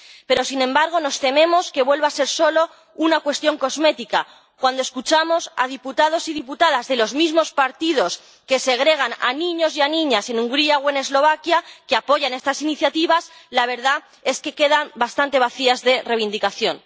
Pero, sin embargo, nos tememos que vuelva a ser solo una cuestión cosmética cuando escuchamos a diputados y diputadas de los mismos partidos que segregan a niños y a niñas en Hungría o en Eslovaquia decir que apoyan estas iniciativas, la verdad es que quedan bastante vacías de reivindicación.